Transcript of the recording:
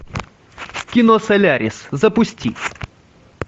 кино солярис запусти